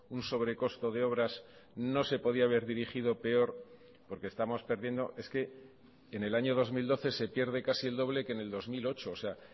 un sobre costo de obras no se podía haber dirigido peor porque estamos perdiendo es que en el año dos mil doce se pierde casi el doble que en el dos mil ocho o sea